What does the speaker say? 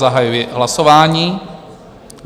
Zahajuji hlasování.